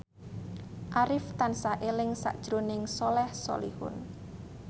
Arif tansah eling sakjroning Soleh Solihun